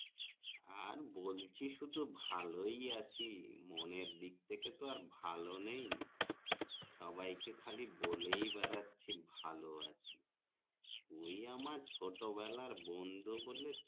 আর বলছি শুধু ভালোই আছি মনের দিক থেকে তো আর ভালো নেই সবাই কে খালি বলে বেড়াচ্ছি ভালোই আছি ওই এম ছোট বেলার বন্ধু বলে